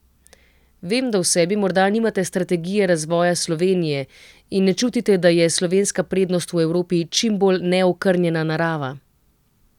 Vem, da v sebi morda nimate strategije razvoja Slovenije in ne čutite, da je slovenska prednost v Evropi čimbolj neokrnjena narava.